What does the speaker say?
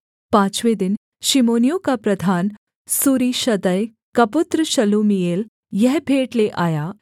पाँचवें दिन शिमोनियों का प्रधान सूरीशद्दै का पुत्र शलूमीएल यह भेंट ले आया